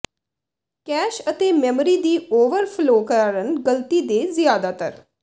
cash ਅਤੇ memory ਦੀ overflow ਕਾਰਨ ਗਲਤੀ ਦੇ ਜ਼ਿਆਦਾਤਰ